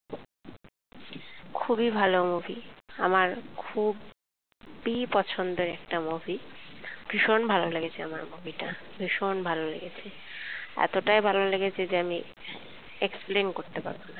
খুবই ভালো movie আমার খুব ই পছন্দের একটা movie ভীষণ ভালো লেগেছে আমার movie টা ভীষণ ভালো লেগেছে এতটাই ভালো লেগেছে যে আমি explain করতে পারবোনা।